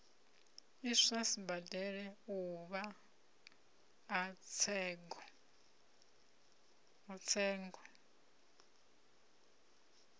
iswa sibadela uvha a tsengo